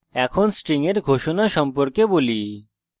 এখন string এর ঘোষণা সম্পর্কে বলি